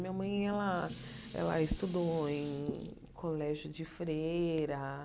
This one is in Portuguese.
Minha mãe ela ela estudou em colégio de freira.